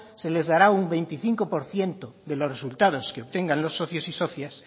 se les dará un veinticinco por ciento de los resultados que obtengan los socios y socias